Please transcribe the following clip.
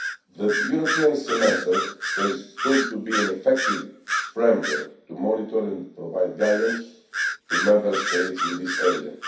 The European Semester has proved to be an effective framework to monitor and provide guidance to Member States in this area.